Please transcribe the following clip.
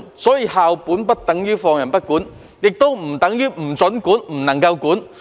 因此，校本不等於放任不管，亦不等於不准管或不能管。